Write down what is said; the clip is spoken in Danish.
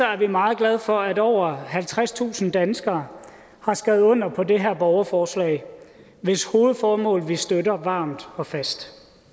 er vi meget glade for at over halvtredstusind danskere har skrevet under på det her borgerforslag hvis hovedformål vi støtter varmt og fast